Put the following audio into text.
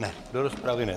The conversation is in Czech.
Ne, do rozpravy ne.